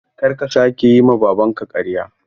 Kar ka sake yi ma Babanka ƙarya!